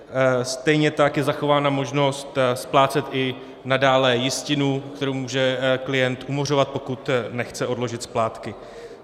Stejně tak je zachována možnost splácet i nadále jistinu, kterou může klient umořovat, pokud nechce odložit splátky.